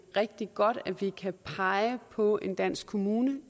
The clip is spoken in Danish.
rigtig godt at vi kan pege på en dansk kommune det